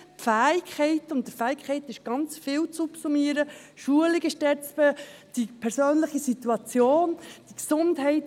die Fähigkeiten – unter Fähigkeiten ist ganz viel zu subsumieren: die Schulung, die persönliche Situation, die Gesundheit.